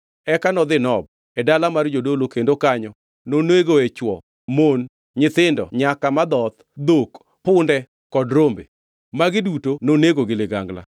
Eka nodhi Nob, e dala mar jodolo kendo kanyo nonegoe chwo, mon, nyithindo nyaka madhoth, dhok, punde kod rombe. Magi duto nonego gi ligangla.